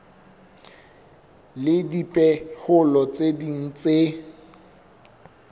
le dipehelo tse ding tse